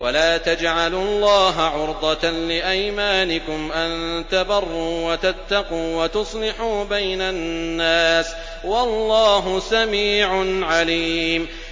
وَلَا تَجْعَلُوا اللَّهَ عُرْضَةً لِّأَيْمَانِكُمْ أَن تَبَرُّوا وَتَتَّقُوا وَتُصْلِحُوا بَيْنَ النَّاسِ ۗ وَاللَّهُ سَمِيعٌ عَلِيمٌ